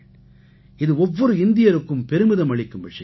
இது ஒவ்வொரு இந்தியருக்கும் பெருமிதம் அளிக்கும் விஷயம்